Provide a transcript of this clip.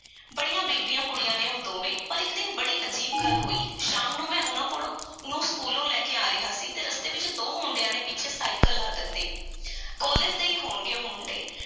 ਬੜੀਆਂ ਬੀਬੀਆਂ ਕੁੜੀਆਂ ਨੇ ਉਹ ਦੋਵੇਂ। ਪਰ ਇੱਕ ਦਿਨ ਬੜੀ ਅਜੀਬ ਗੱਲ ਹੋਈ। ਸ਼ਾਮ ਨੂੰ ਮੈਂ ਉਹਨਾਂ ਕੋਲੋਂ, ਨੂੰ ਸਕੂਲੋਂ ਲੈ ਕੇ ਆ ਰਿਹਾ ਸੀ ਅਤੇ ਰਸਤੇ ਵਿੱਚ ਦੋ ਮੁੰਡਿਆਂ ਨੇ ਪਿੱਛੇ ਸਾਈਕਲ ਲਾ ਦਿੱਤੇ। ਕਾਲਜ ਦੇ ਈ ਹੋਣਗੇ, ਉਹ ਮੁੰਡੇ।